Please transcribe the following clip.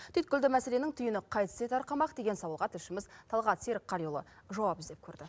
түйткілді мәселенің түйіні қайтсе тарқамақ деген сауалға тілшіміз талғат серікқалиұлы жауап іздеп көрді